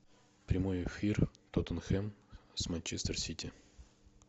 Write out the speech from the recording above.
прямой эфир тоттенхэм с манчестер сити